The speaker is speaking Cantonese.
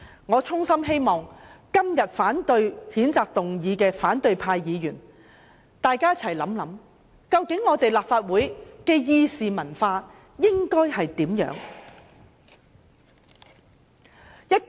我衷心希望今天反對譴責議案的反對派議員想一想，究竟立法會的議事文化應該是怎樣的呢？